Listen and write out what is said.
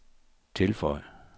tilføj